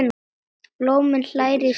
Blómi hlær í sverði.